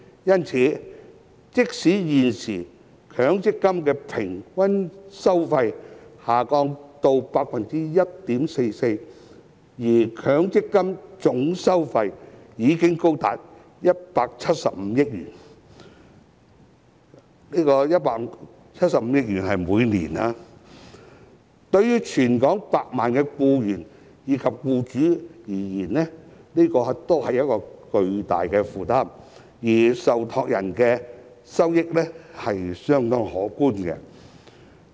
因此，即使現時強積金的平均收費下跌至 1.44%， 但強積金的總收費已經高達175億元——是每年175億元——對全港數百萬名僱員及僱主而言都是巨大的負擔，而受託人的收益是相當可觀的。